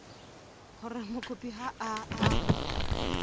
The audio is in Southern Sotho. hore mokopi ha a a